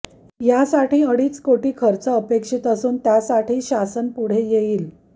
यासाठी अडीच कोटी खर्च अपेक्षित असून त्यासाठी शासन पुढे येईल